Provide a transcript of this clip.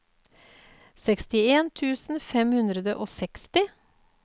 sekstien tusen fem hundre og seksti